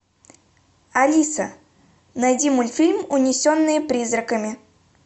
алиса найди мультфильм унесенные призраками